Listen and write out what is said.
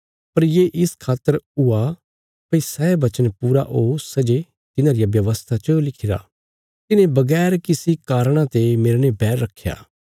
पर ये इस खातर हुआ भई सै वचन पूरा ओ सै जे तिन्हां रिया व्यवस्था च लिखिरा तिन्हें बगैर किसी कारणा ते मेरने बैर रखया